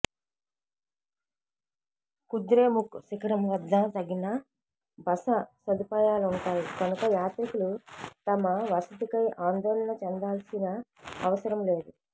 కుద్రేముఖ్ శిఖరం వద్ద తగిన బస సదుపాయాలుంటాయి కనుక యాత్రికులు తమ వసతికై ఆందోళన చెందాల్సిన అవసరం లేదు